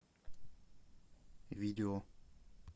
видео